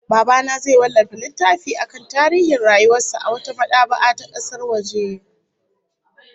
Baba na zai wallafa littafi akan tarihin rayuwar sa a wata mad'aba'a ta kasar waje